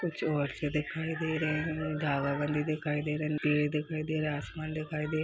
कुछ औरतें दिखाई दे रही हैं धावा वाली दिखाई दे रही है पेड़ दिखाई दे रहा है आसमान दिखाई दे रहा--